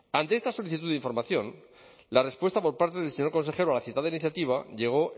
ante esta solicitud de información la respuesta por parte del señor consejero a la citada iniciativa llegó